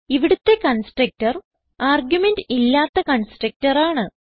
ഇവിടുത്തെ constructor argument ഇല്ലാത്ത constructor ആണ്